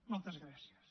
moltes gràcies